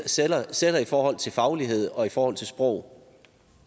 sætter sætter i forhold til faglighed og i forhold til sprog